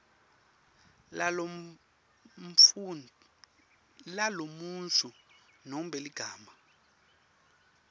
lalomuntfu nobe ligama